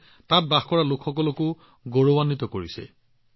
এইটোৱে তাত বাস কৰা লোকসকলক গৌৰৱৰ অনুভৱ প্ৰদান কৰিছে